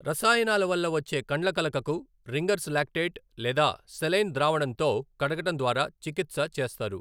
రసాయనాల వల్ల వచ్చే కండ్లకలకకు రింగర్స్ లాక్టేట్ లేదా సెలైన్ ద్రావణంతో కడగటం ద్వారా చికిత్స చేస్తారు.